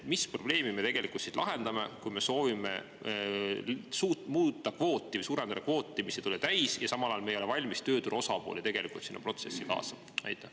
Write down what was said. Mis probleemi me tegelikult siis lahendame, kui me soovime muuta kvooti või suurendada kvooti, mis ei tule täis, ja samal ajal me ei ole tegelikult valmis tööturu osapooli sinna protsessi kaasama?